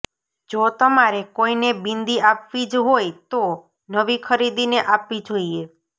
જો તમારે કોઈને બિંદી આપવી જ હોય તો નવી ખરીદીને આપવી જોઈએ